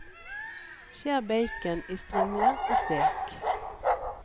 Skjær bacon i strimler og stek.